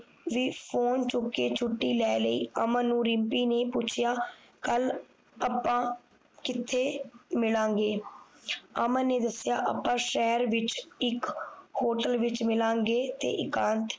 ਵੀ phone ਚੁੱਕ ਕੇ ਛੁੱਟੀ ਲੈ ਲਈ ਅਮਨ ਨੂੰ ਰਿਮਪੀ ਨੇ ਪੁੱਛਿਆ ਕੱਲ ਅੱਪਾ ਕਿਥੇ ਮਿਲਾਂਗੇ ਅਮਨ ਨੇ ਦਸਿਆ ਅੱਪਾ ਸ਼ਹਿਰ ਵਿਚ ਇਕ Hotel ਵਿਚ ਮਿਲਾਂਗੇ ਤੇ ਏਕਾਂਤ